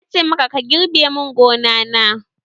Na ce maka 'Girbe mun gona na'!